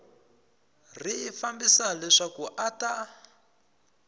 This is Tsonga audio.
ri fambisa leswaku a ta